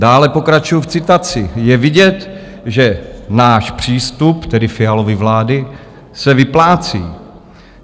Dále pokračuji v citaci: "Je vidět, že náš přístup, tedy Fialovy vlády, se vyplácí.